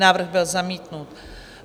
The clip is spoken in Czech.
Návrh byl zamítnut.